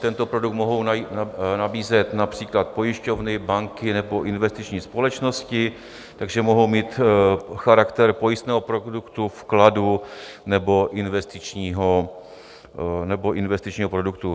Tento produkt mohou nabízet například pojišťovny, banky nebo investiční společnosti, takže mohou mít charakter pojistného produktu, vkladu nebo investičního produktu.